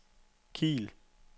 Kiel